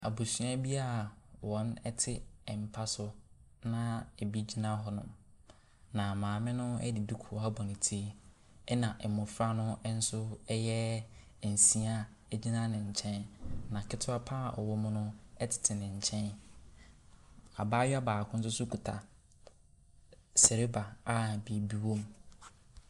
Abusua bi wɔte mpa so na bi gyina hɔnom. Na maame no de duku abɔ ne ti. Ɛna mmofra bɛyɛ nsia a egyina ne nkyɛn no. Na kete pa ara a ɔwɔ mu no ɛtete ne nkyɛn. Abaayewa baako nso kuta seleba a biribi wɔ mu.